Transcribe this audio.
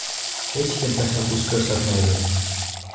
Hech kim tashabbus ko‘rsatmaydi.